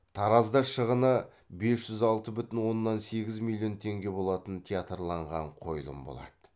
таразда шығыны бес жүз алты бүтін оннан сегіз миллион теңге болатын театрланған қойылым болады